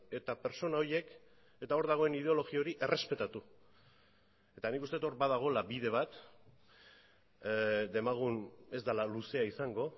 eta pertsona horiek eta hor dagoen ideologia hori errespetatu eta nik uste dut hor badagoela bide bat demagun ez dela luzea izango